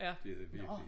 Det det virkelig